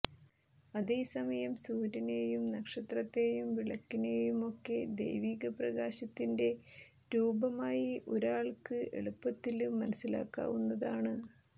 അതേസമയം സൂര്യനെയും നക്ഷത്രത്തെയും വിളക്കിനെയുമൊക്കെ ദൈവികപ്രകാശത്തിന്റെ രൂപകമായി ഒരാള്ക്ക് എളുപ്പത്തില് മനസ്സിലാക്കാവുന്നതാണ്